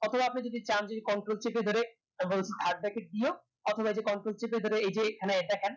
তারপর আপনি যদি চান যদি control চিপে ধরে third bracket দিয়ে ও অথবা যে control টিপে ধরে এই যে এখানে দেখেন